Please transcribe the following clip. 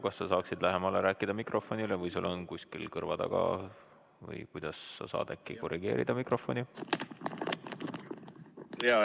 Kas sa saaksid mikrofonile lähemal rääkida või saaksid äkki kuidagi korrigeerida mikrofoni?